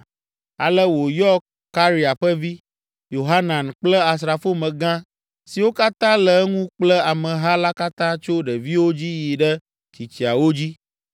Ale wòyɔ Karea ƒe vi, Yohanan kple asrafomegã siwo katã le eŋu kple ameha la katã tso ɖeviwo dzi yi ɖe tsitsiawo dzi.